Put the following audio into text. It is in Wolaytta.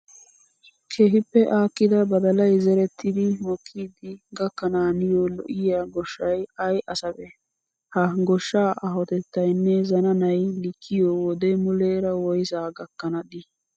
Keehippe aakkida badalayi zerettidi mokkidi gakkanaaniyoo lo'iyaa goshshayi ayi asabee? Ha goshshaa aahotettayinne zananayi likkiyoo wode muleera woyisaa gakkana dii?